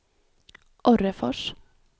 Orrefors